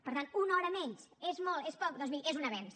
per tant una hora menys és molt és poc doncs miri és un avenç